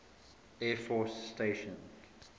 air force station